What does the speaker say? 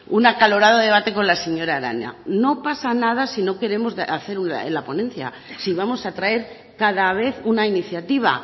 un acalorado debate con la señora arana no pasa nada si no queremos hacer en la ponencia si vamos a traer cada vez una iniciativa